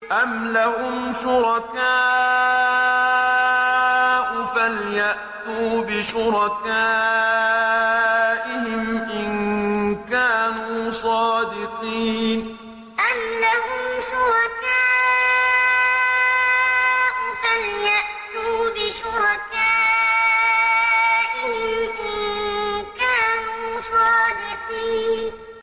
أَمْ لَهُمْ شُرَكَاءُ فَلْيَأْتُوا بِشُرَكَائِهِمْ إِن كَانُوا صَادِقِينَ أَمْ لَهُمْ شُرَكَاءُ فَلْيَأْتُوا بِشُرَكَائِهِمْ إِن كَانُوا صَادِقِينَ